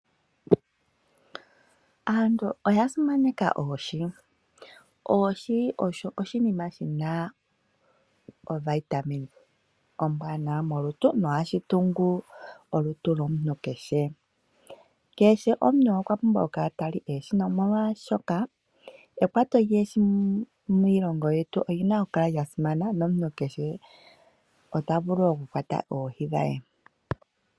Aantu oya simaneka oohi. Oohi osho oshinima shi na ovitamine ombwanawa molutu nohashi tungu olutu lwomuntu kehe. Kehe omuntu kehe okwa pumbwa okukala ta li oohi, nomolwaashoka ekwato lyoohi miilongo yetu oli na okukala lya simana, nomuntu kehe ota vulu okukwata oohi dhe.